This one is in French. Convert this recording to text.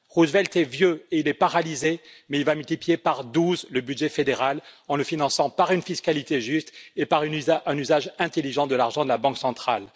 Roosevelt est vieux et paralysé, mais il va multiplier par 12 le budget fédéral en le finançant par une fiscalité juste et par un usage intelligent de l'argent de la banque centrale.